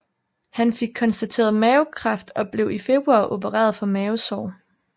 Han fik konstateret mavekræft og blev i februar opereret for mavesår